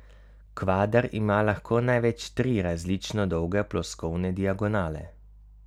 Kvader ima lahko največ tri različno dolge ploskovne diagonale.